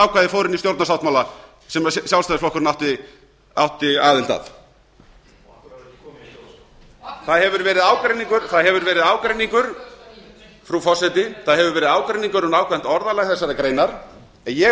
ákvæði fór inn í stjórnarsáttmála sem sjálfstæðisflokkurinn átti aðild að af hverju er það ekki komið í stjórnarskrá það hefur verið ágreiningur frú forseti um nákvæmt orðalag þessarar greinar en ég